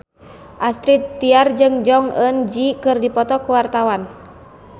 Astrid Tiar jeung Jong Eun Ji keur dipoto ku wartawan